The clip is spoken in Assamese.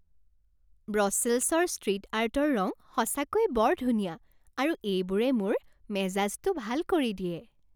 ব্ৰছেলছৰ ষ্ট্ৰীট আৰ্টৰ ৰং সঁচাকৈয়ে বৰ ধুনীয়া আৰু এইবোৰে মোৰ মেজাজটো ভাল কৰি দিয়ে।